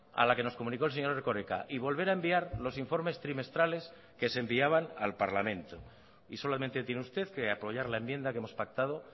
a la que nos comunicó el señor erkoreka y volver a enviar los informes trimestrales que se enviaban al parlamento y solamente tiene usted que apoyar la enmienda que hemos pactado